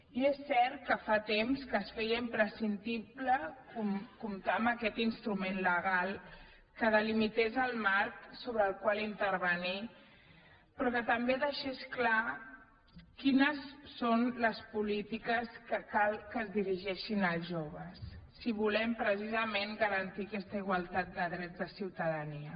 i és cert que fa temps que es feia imprescindible comptar amb aquest instrument legal que delimités el marc sobre el qual intervenir però que també deixés clar quines són les polítiques que cal que es dirigeixin als joves si volem precisament garantir aquesta igualtat de drets de ciutadania